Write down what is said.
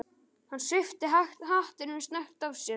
Hann svipti hattinum snöggt af sér.